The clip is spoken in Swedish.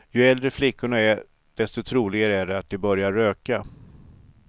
Ju äldre flickorna är desto troligare är det att de börjar röka.